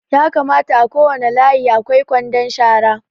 Ya kamata a kowane layi a kwai kwandon shara